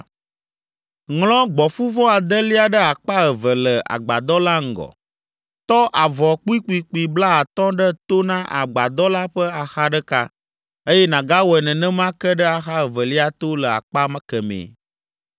Ŋlɔ gbɔ̃fuvɔ adelia ɖe akpa eve le agbadɔ la ŋgɔ. Tɔ avɔ kpuikpuikpui blaatɔ̃ ɖe to na agbadɔ la ƒe axa ɖeka, eye nàgawɔe nenema ke ɖe axa evelia to le akpa kemɛ.